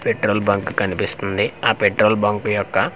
petrol bunk కనిపిస్తుంది ఆ petrol bunk యొక్క--